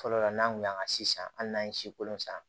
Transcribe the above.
Fɔlɔ la n'an kun y'an ka sisan hali n'an ye si kolo san